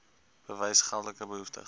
bewys geldelik behoeftig